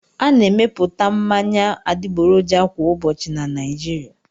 A na-emepụta mmanya adịgboroja kwa ụbọchị na Naịjirịa.